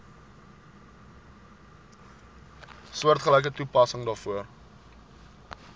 soortgelyke toepassing daarvoor